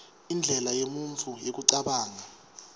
indlela yemuntfu yekucabanga